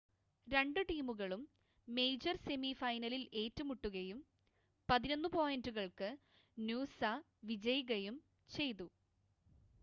രണ്ട് ടീമുകളും major semi ഫൈനലിൽ ഏറ്റുമുട്ടുകയും 11 പോയിൻ്റുകൾക്ക് നൂസ വിജയികയും ചെയ്തു